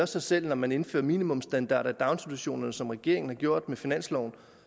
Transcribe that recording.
sig selv når man indfører minimumsstandarder i daginstitutionerne som regeringen har gjort med finansloven